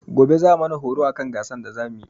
Gobe za'a mana horo akan gasan da za muyi.